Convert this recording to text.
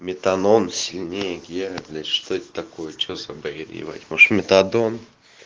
метанон сильнее геры блять что это такое что за бред ебать может метадон